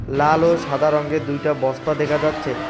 লাল ও সাদা রঙ্গের দুইটা বস্তা দেখা যাচ্ছে